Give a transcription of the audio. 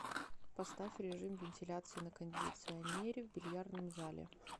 поставь режим вентиляции на кондиционере в бильярдном зале